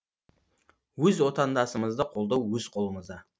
өз отандасымызды қолдау өз қолымызда